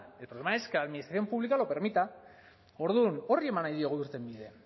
el problema es que la administración pública lo permita orduan horri eman nahi diogu irtenbidea